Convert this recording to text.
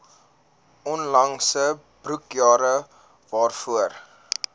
onlangse boekjare waarvoor